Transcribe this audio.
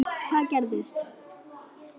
Hvað gerist?